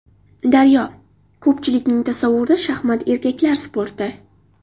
Daryo: Ko‘pchilikning tasavvurida shaxmat – erkaklar sporti.